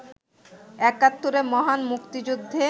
একাত্তরের মহান মুক্তিযুদ্ধে